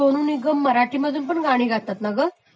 सोनु निगम सराठीतून पण गाणी गातात ना ग?